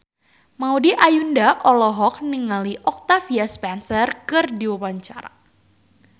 Maudy Ayunda olohok ningali Octavia Spencer keur diwawancara